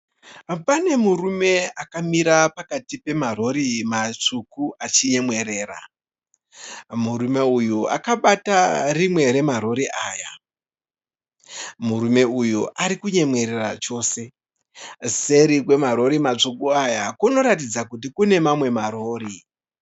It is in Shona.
Pane murume akamira pakati pemarori matsvuku achinyemwerera. Murume uyu akabata rimwe rema rori aya. Murume uyu ari kunyemwerera chose. Seri kwemarori matsuku aya kunoratidza kuti kune mamwe ma rori.